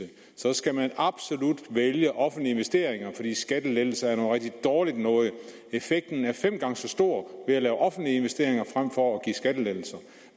skal man absolut vælge offentlige investeringer fordi skattelettelser er noget rigtig dårligt noget effekten er fem gange så stor ved at lave offentlige investeringer frem for skattelettelser